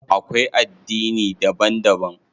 Akwai addini daban daban.